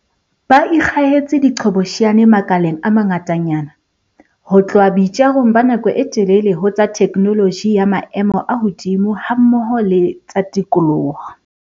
Ba ikgahetse diqhobosheane makaleng a mangatanyana, ho tloha boitjarong ba nako e telele ho tsa theknoloji ya maemo a hodimo hammoho le tsa tikoloho.